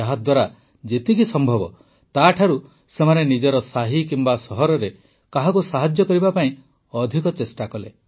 ଯାହାଦ୍ୱାରା ଯେତିକି ସମ୍ଭବ ତାଠାରୁ ସେମାନେ ନିଜ ସାହି କିମ୍ବା ସହରରେ କାହାକୁ ସାହାଯ୍ୟ କରିବା ପାଇଁ ଅଧିକ ଚେଷ୍ଟା କଲେ